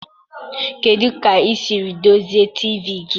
Kedu ka ị siri dozie TV gị